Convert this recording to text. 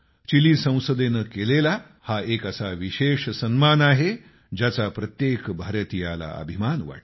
chilli संसदेनं केलेला हा एक असा विशेष सन्मान आहे ज्याचा प्रत्येक भारतीयाला अभिमान वाटतो